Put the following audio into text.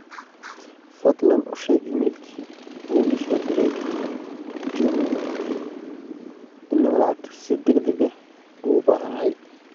fadlan u sheeg iimaylkii uu ii soo diray juma in aan lacagta si degdeg ah ugu baahanahay